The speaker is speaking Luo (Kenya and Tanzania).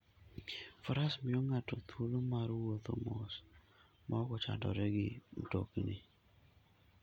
Faras miyo ng'ato thuolo mar wuotho mos maok ochandore gi mtokni.